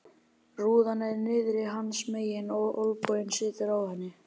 Rúðan er niðri hans megin og olnboginn situr á henni.